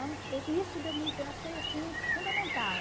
i isso eu achei assim fundamental.